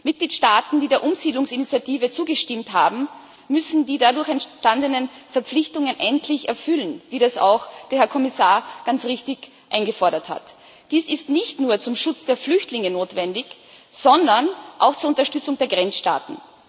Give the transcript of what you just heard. Mitgliedstaaten, die der Umsiedlungsinitiative zugestimmt haben, müssen die dadurch entstandenen Verpflichtungen endlich erfüllen, wie das auch der Herr Kommissar ganz richtig eingefordert hat. Dies ist nicht nur zum Schutz der Flüchtlinge notwendig, sondern auch zur Unterstützung der Grenzstaaten.